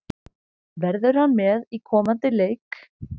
Verður hann með í komandi leik?